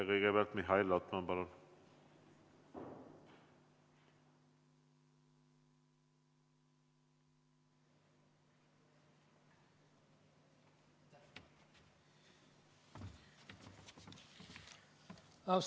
Kõigepealt Mihhail Lotman, palun!